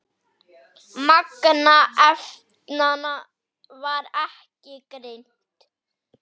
Magn efnanna var ekki greint.